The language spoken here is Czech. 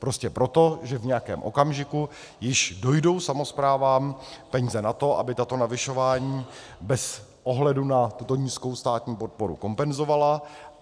Prostě proto, že v nějakém okamžiku již dojdou samosprávám peníze na to, aby tato navyšování bez ohledu na tuto nízkou státní podporu kompenzovaly.